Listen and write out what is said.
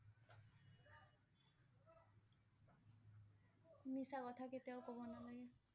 মিছা কথা কেতিয়াও কব নালাগে।